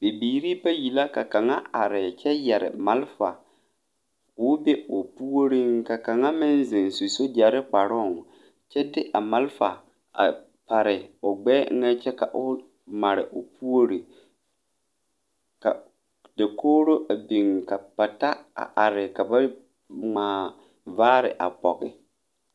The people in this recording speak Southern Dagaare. Bibiiri bayi la ka kaŋa are kyɛ yɛre malfa koo be o puoriŋ ka kaŋa meŋ ziŋ su sogyɛre kparoŋ kyɛ de a malfa pare o gbɛɛ eŋɛ kyɛ ka o mare o puori ka dakogro a biŋ ka pata are ka ba ŋmaa vaare a pɔge.